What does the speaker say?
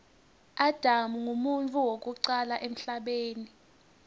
adam nqumuntfu wekucala emhlabeni